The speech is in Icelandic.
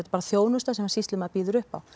bara þjónusta sem sýslumaður býður upp á